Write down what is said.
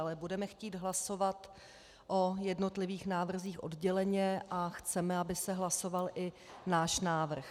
Ale budeme chtít hlasovat o jednotlivých návrzích odděleně a chceme, aby se hlasoval i náš návrh.